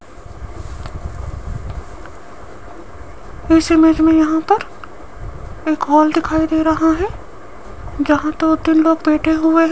इस इमेज में यहां पर एक हॉल दिखाई दे रहा है जहां दो तीन लोग बैठे हुए --